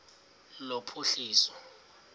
lophuhliso